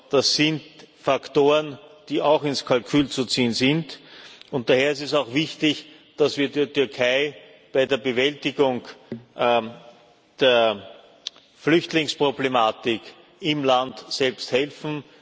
Das sind Faktoren, die auch ins Kalkül zu ziehen sind, und daher ist es auch wichtig, dass wir der Türkei bei der Bewältigung der Flüchtlingsproblematik im Land selbst helfen.